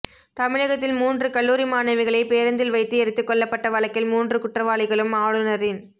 தமிழகத்தில் மூன்று கல்லூரி மாணவிகளை பேருந்தில் வைத்து எரித்து கொல்லப்பட்ட வழக்கில் மூன்று குற்றவாளிகளும் ஆளுனரின்